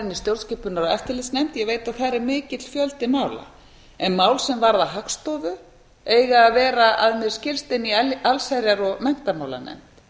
í stjórnskipunar og eftirlitsnefnd ég beiti að þar er mikill fjöldi mála en mál sem varða hagstofu eiga að vera að mér skilst í allsherjar og menntamálanefnd